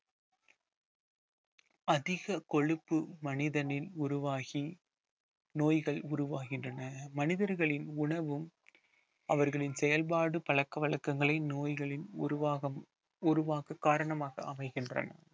அதிக கொழுப்பு மனிதனின் உருவாகி நோய்கள் உருவாகின்றன மனிதர்களின் உணவும் அவர்களின் செயல்பாடு பழக்க வழக்கங்களை நோய்களின் உருவாகும் உருவாக்கக் காரணமாக அமைகின்றன